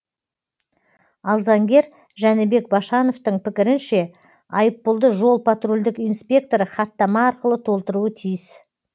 ал заңгер жәнібек башановтың пікірінше айыппұлды жол патрульдік инспекторы хаттама арқылы толтыруы тиіс